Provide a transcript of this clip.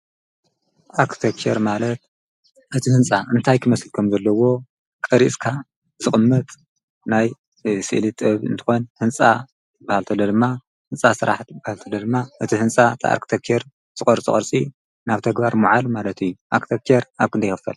ኣርክቴክቸር ማለት እቲ ሕንፃ እንታይ ክመስል ከምዘለዎ ቀሪፅካ ዝቕመጥ ናይ ስእሊ ጥበብ እንትኾን ህንፃ እንትበሃል እንተሎ ድማ ህንፃ ስራሕትታት እቲ ኣርክቴክቸር ዝቐርፆ ቅርፂ ናብ ተግባር ምውዓል ማለት እዩ፡፡ ኣርክቴክቸር ኣብ ክንደይ ይኽፈል?